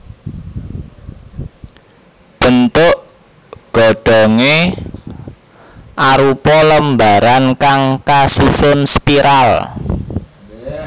Bentuk godhongé arupa lembaran kang kasusun spiral